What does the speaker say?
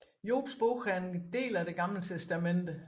Jobs Bog er en del af Det Gamle Testamente